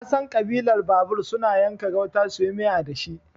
Nasan Ƙabilar babur suna yanka gauta suyi miya dashi